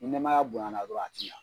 Ni nɛmaya bonyana dɔrɔn a ti ɲɛ.